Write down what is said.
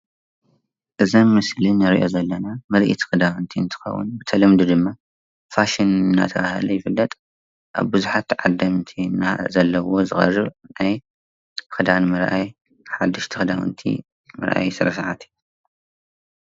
እዚ ኣብ ምስሊ እንሪኦ ዘለና ምርኢት ክዳውንቲ እንትከውን ብተለምዶ ድማ ፋሽን እንዳተባሃለ ይፍለጥ፡፡ ኣብ ቡዙሓት ተዓደምቲ ዘለዎ ዝቀርብ ክዳን ንምርኣይ ሓደሽቲ ክዳውንቲ ምርኣይ ስነ ስርዓት እዩ፡፡